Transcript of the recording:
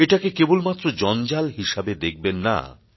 এটাকে কেবলমাত্র জঞ্জাল হিসেবে দেখবেন না